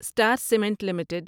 star cement limited